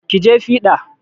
Ki je fiɗa!